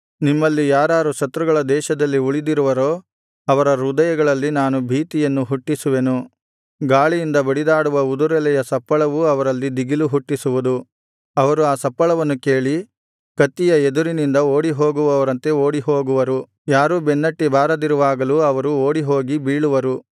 ನಿಮ್ಮಲ್ಲಿ ಯಾರಾರು ಶತ್ರುಗಳ ದೇಶದಲ್ಲಿ ಉಳಿದಿರುವರೋ ಅವರ ಹೃದಯಗಳಲ್ಲಿ ನಾನು ಭೀತಿಯನ್ನು ಹುಟ್ಟಿಸುವೆನು ಗಾಳಿಯಿಂದ ಬಡಿದಾಡುವ ಉದುರೆಲೆಯ ಸಪ್ಪಳವೂ ಅವರಲ್ಲಿ ದಿಗಿಲು ಹುಟ್ಟಿಸುವುದು ಅವರು ಆ ಸಪ್ಪಳವನ್ನು ಕೇಳಿ ಕತ್ತಿಯ ಎದುರಿನಿಂದ ಓಡಿಹೋಗುವವರಂತೆ ಓಡಿಹೋಗುವರು ಯಾರೂ ಬೆನ್ನಟ್ಟಿ ಬಾರದಿರುವಾಗಲೂ ಅವರು ಓಡಿಹೋಗಿ ಬೀಳುವರು